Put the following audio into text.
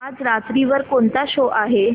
आज रात्री वर कोणता शो आहे